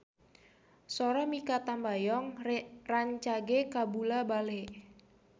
Sora Mikha Tambayong rancage kabula-bale